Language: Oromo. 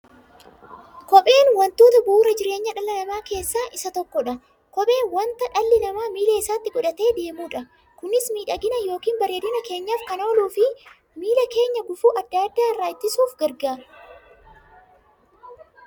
Kopheen wantoota bu'uura jireenya dhala namaa keessaa isa tokkodha. Kopheen wanta dhalli namaa miilla isaatti godhatee deemudha. Kunis miidhagani yookiin bareedina keenyaf kan ooluufi miilla keenya gufuu adda addaa irraa ittisuuf gargaara.